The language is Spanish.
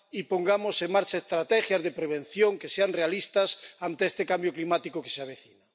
Y pongamos en marcha estrategias de prevención realistas ante este cambio climático que se avecina.